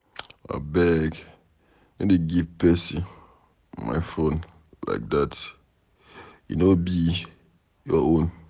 Abeg no dey give person my phone like dat. E no be your own.